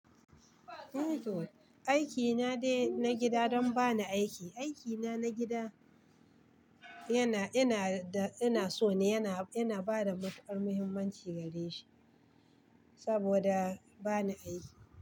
Aiki na dai na gida don ba ni aiki. Aiki na gida yana, ina da ina so ne, yana, yana ina bada matukar muhimmanci gare shi saboda ba ni aiki.